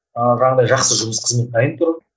ыыы жаңағындай жақсы жұмыс қызмет дайын тұр